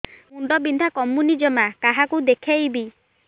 ମୁଣ୍ଡ ବିନ୍ଧା କମୁନି ଜମା କାହାକୁ ଦେଖେଇବି